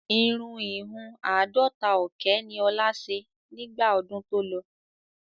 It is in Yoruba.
Irun ìhun àádọ́ta ọ̀kẹ́ ni ọ̀la ṣe nígbà ọdún tó lọ.